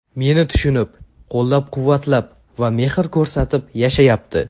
Meni tushunib, qo‘llab-quvvatlab va mehr ko‘rsatib yashayapti!